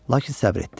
Lakin səbir etdi.